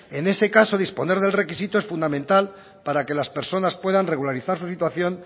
en ese caso disponer del requisito es fundamental para que las personas puedan regularizar su situación